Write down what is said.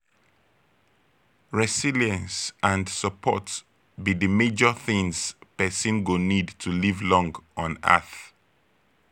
resilience and support be di major things pesin go need to live long on earth.